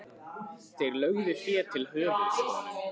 Þeir lögðu fé til höfuðs honum.